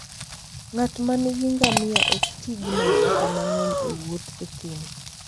Ng'at ma nigi ngamia ok ti gi mafuta mang'eny e wuoth e thim.